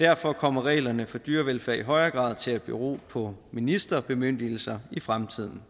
derfor kommer reglerne for dyrevelfærd i højere grad til at bero på ministerbemyndigelser i fremtiden